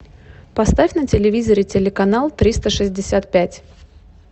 поставь на телевизоре телеканал триста шестьдесят пять